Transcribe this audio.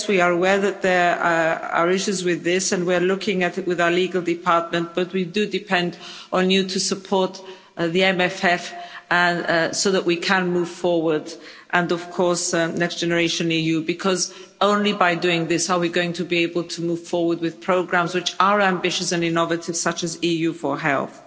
Yes, we are aware that there are issues with this and we're looking at it with our legal department, but we do depend on you to support the MMF so that we can move forward and, of course, Next Generation EU because only by doing this are we going to be able to move forward with programmes which are ambitious and innovative such as EU4Health.